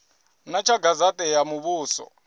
ḓa tsha gazete ya muvhuso